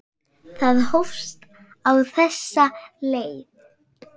Það hófst á þessa leið.